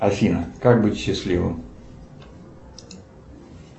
афина как быть счастливым